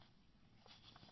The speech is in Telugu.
ఇలా ఎన్నో సూచనలు అందాయి